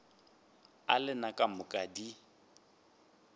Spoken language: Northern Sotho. a lena ka moka di